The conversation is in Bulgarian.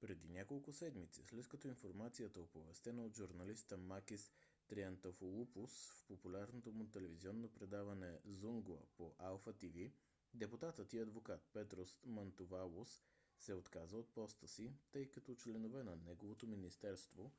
преди няколко седмици след като информацията оповестена от журналиста макис триантафилопулос в популярното му телевизионно предаване zoungla по алфа тв депутатът и адвокат петрос мантувалос се отказа от поста си тъй като членове на неговото министерство